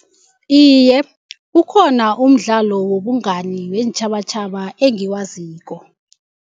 Iye, ukhona umdlalo wobungani weentjhabatjhaba engiwaziko.